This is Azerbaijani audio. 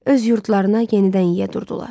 Öz yurdlarına yenidən yiyə durdular.